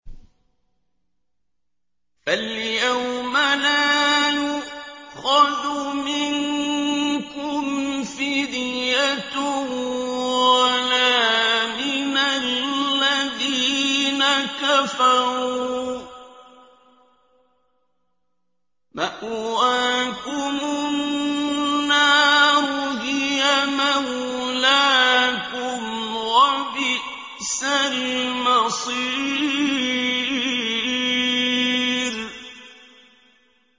فَالْيَوْمَ لَا يُؤْخَذُ مِنكُمْ فِدْيَةٌ وَلَا مِنَ الَّذِينَ كَفَرُوا ۚ مَأْوَاكُمُ النَّارُ ۖ هِيَ مَوْلَاكُمْ ۖ وَبِئْسَ الْمَصِيرُ